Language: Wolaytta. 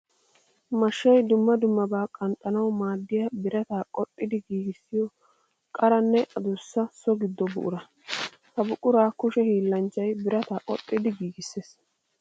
Mashshay dumma dummabaa qanxxannawu maaddiya birata qoxxiddi giiggissiyo qaranne adussa so gido buqura. Ha buqura kushe hiillanchchay birataa qoxxiddi giigissees.